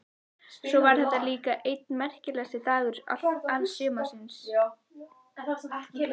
Svo var þetta líka einn merkasti dagur alls sumarsins.